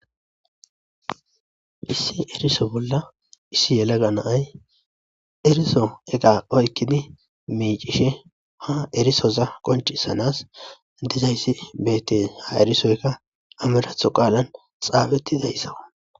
Issi eriso bolla issi yelaga naay eriso ega oykkidi miicishe ha erisoza qoncisanas dizayssi beette ha erisoyka amiratho qaalan xaabetti zayssawa.